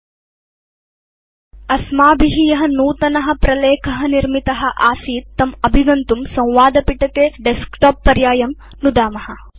अधुना अस्माभि य नूतन प्रलेख निर्मित आसीत् तम् अभिगन्तुं संवादपिटके डेस्कटॉप पर्यायं नुदाम